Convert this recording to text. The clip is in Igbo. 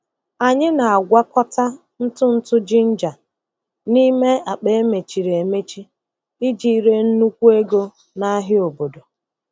Anyị na-agwakọta ntụ ntụ ginger n'ime akpa emechiri emechi iji ree nnukwu ego n'ahịa obodo.